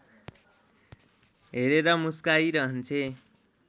हेरेर मुस्काइरहन्छे